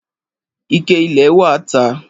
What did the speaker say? Ìkẹ ìlẹ wà tà